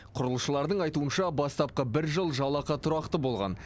құрылысшылардың айтуынша бастапқы бір жыл жалақы тұрақты болған